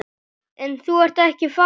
En þú ert ekki farinn.